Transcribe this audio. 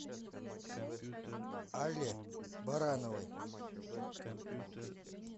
алле барановой